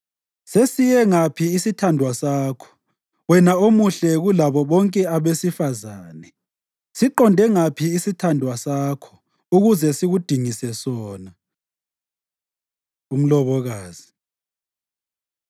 Sesiye ngaphi isithandwa sakho wena omuhle kulabo bonke abesifazane? Siqonde ngaphi isithandwa sakho ukuze sikudingise sona? Umlobokazi